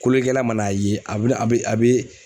Kolonlikɛla ma na a ye, a be a be